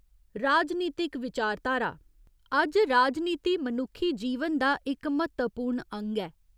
राजनीतिक विचारधारा अज्ज राजनीति मनुक्खी जीवन दा इक म्हत्तवपूर्ण अंग ऐ।